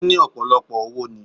Ó ní ọ̀pọ̀lọpọ̀ owo ni